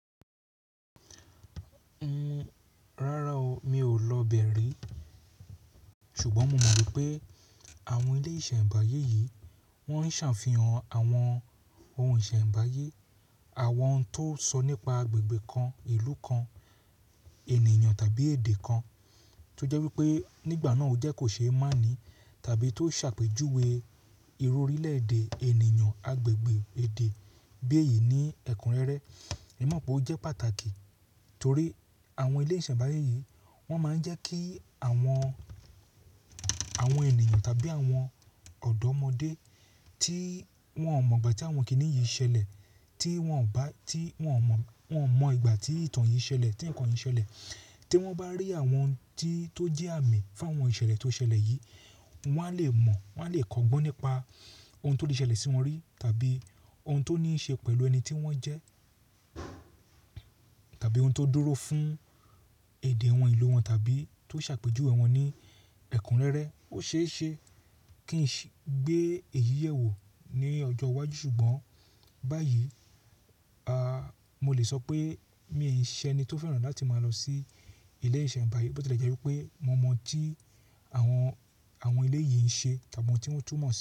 Rárá o, mi ò lọ bẹ̀ ri, ṣùgbọ́n mo mọ̀ pé àwọn ilé ìṣẹ̀nbáyé yìí wọ́n ń ṣàfihàn àwọn ohun ìṣẹ̀nbáyé, àwọn ohun tó sọ nípa agbègbè kan, ìlú kan, ènìyàn tàbí èdè kan tó jẹ́ wípé nígbà náà ó jẹ́ kò ṣe é máàní tàbí tó ṣàpèjúwe ìró orílẹ̀ èdè ènìyàn agbègbè èdè bí èyí ní ẹ̀kún rẹ́rẹ́. Èmi mọ̀ pé ó jẹ́ pàtàkì torí àwọn ilé ìṣẹ̀nbáyé yìí wọ́n máa ń jẹ́ kí àwọn, àwọn ènìyàn tàbí àwọn ọ̀dọ́mọdé tí wọ́n ò mọ̀ ìgbà tí àwọn kiní yìí ṣẹlẹ̀, tí wọ́n ò bá-- tí wọ́n mọ̀, wọ́n mọ̀ ìgbà tí ìtàn yìí ṣẹlẹ̀, tí nǹkan yìí ṣẹlẹ̀, tí wọ́n bá rí àwọn ohun tí tó jẹ́ àmì fún àwọn ìṣẹ̀lẹ̀ tó ṣẹlẹ̀ yìí, wọ́n á le mọ̀, wọ́n á le kọgbọ́n nípa ohun tó lè ṣẹlẹ̀ sí wọn rí tàbí ohun tó ní í ṣe pẹ̀lú ẹni tí wọ́n jẹ́ tàbí ohun tó dúró fún èdè àwọn ìlú wọn tàbí tó ṣàpèjúwe wọ́n ní ẹ̀kún rẹ́rẹ́. Ó ṣe é ṣe kí n gbé èyí yẹ̀ wò ní ọjọ́ iwájú, ṣùgbọ́n báyìí, a, mo lè sọ pé mi ò ṣe ẹni tó fẹ́ràn láti máa lọ sí ilé ìṣẹ̀nbáyé, bó tilẹ̀ jẹ́ wípé mo mọ̀ tí àwọn, àwọn ilé yìí ń ṣe tàbí ohun tí wọ́n tú mọ̀.